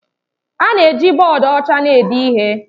A na-eji bọọdụ ọcha na-ede ihe